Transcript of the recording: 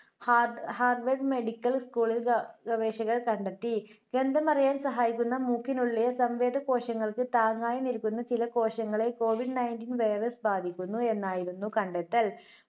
ഹാർഡ്~ഹാർവഡ് medical സ്കൂളിലെ ഗ~ഗവേഷകർ കണ്ടെത്തി. ഗന്ധം അറിയാൻ സഹായിക്കുന്ന മൂക്കിനുള്ളിലെ കോശങ്ങൾക്ക് താങ്ങായി നിൽക്കുന്ന ചില കോശങ്ങളെ കോവിഡ് nineteen virus ബാധിക്കുന്നു എന്നായിരുന്നു കണ്ടെത്തൽ.